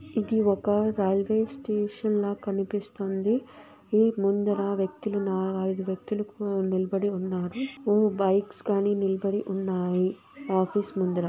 ఇది ఒక railway station ల కనిపిస్తుంది ఈ ముందర వ్యక్తులు ఉన్నా-అయిదు వ్యక్తులు నిలబడి ఉన్నారు ఓ బైక్స్ కానీ నిలబడి ఉన్నాయి ఆఫీస్ ముందర.